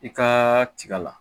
I ka tiga la